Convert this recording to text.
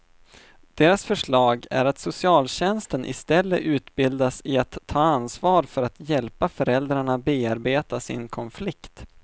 Deras förslag är att socialtjänsten istället utbildas i att ta ansvar för att hjälpa föräldrarna bearbeta sin konflikt.